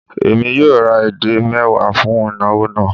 Èmi yóò ra edé mẹ́wàá fún ìnawọ̀ náà